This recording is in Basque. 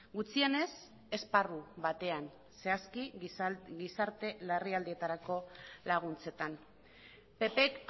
gutxienez esparru batean zehazki gizarte larrialdietarako laguntzetan ppk